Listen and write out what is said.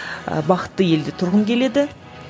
ы бақытты елде тұрғым келеді